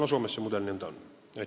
Aga Soomes see mudel niisugune on.